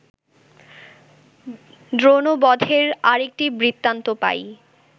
দ্রোণবধের আর একটি বৃত্তান্ত পাই